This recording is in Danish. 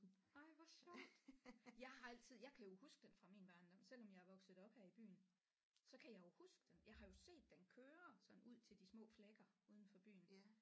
Ej hvor sjovt jeg har altid jeg kan jo huske den fra min barndom selvom jeg er vokset op her i byen så kan jeg jo huske den jeg har jo set den køre sådan ud til de små flækker uden for byen